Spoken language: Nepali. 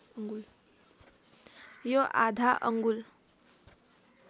यो आधा अङ्गुल